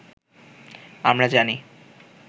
আমরা জানি